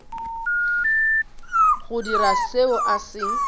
go dira seo a se